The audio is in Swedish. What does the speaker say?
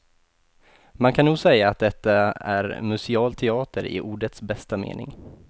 Man kan nog säga att detta är museal teater i ordets bästa mening.